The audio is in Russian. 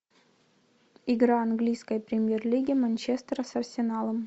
игра английской премьер лиги манчестера с арсеналом